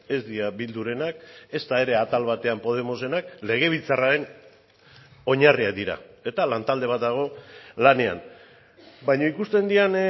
ez dira bildurenak ezta ere atal batean podemosenak legebiltzarraren oinarriak dira eta lantalde bat dago lanean baina ikusten diren